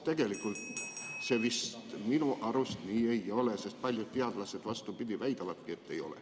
Tegelikult see minu arust vist nii ei ole, paljud teadlased väidavadki vastupidi, et ei ole.